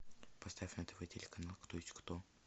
поставь на тв телеканал кто есть кто